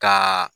Ka